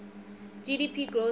gdp growth rates